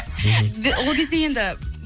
ол кезде енді